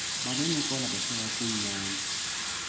babencokola behleka kumnandi